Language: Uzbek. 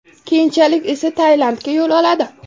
Keyinchalik esa Tailandga yo‘l oladi.